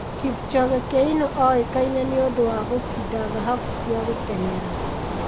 Kipchoge Keino oĩkaine nĩ ũndũ wa gũcinda thahabu cia gũteng'era.